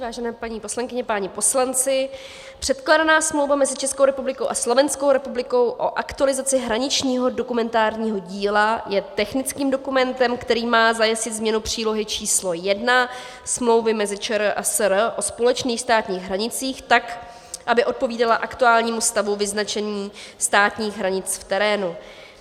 Vážené paní poslankyně, páni poslanci, předkládaná smlouva mezi Českou republikou a Slovenskou republikou o aktualizaci hraničního dokumentárního díla je technickým dokumentem, který má zajistit změnu přílohy číslo 1 smlouvy mezi ČR a SR o společných státních hranicích tak, aby odpovídala aktuálnímu stavu vyznačení státních hranic v terénu.